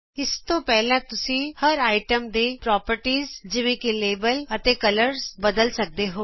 ਇਸ ਤੋਂ ਪਹਿਲਾਂ ਤੁਸੀਂ ਹਰ ਆਈਟਮਜ਼ ਦੇ ਗੁਣ ਜਿਵੇਂ ਕਿ ਲੈਬਲ ਅਤੇ ਰੰਗ ਬਦਲ ਸਕਦੇ ਹੋ